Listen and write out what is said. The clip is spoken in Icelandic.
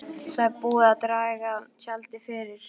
Það er búið að draga tjaldið fyrir.